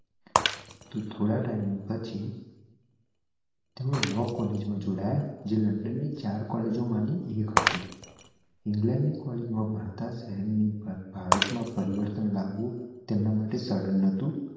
તોહ થોડા ટીમે પછી કોલ્લેગે માં જોડાયા જે લન્ડન ની ચાર કૉલેજો મણિ એક હતી ઇંગ્લેન્ડ ની કોલ્લેગે માં ભણતા શહેર ની ભારતમાં પરિવર્તન લાવવું તેમના માટે સરળ નહોતું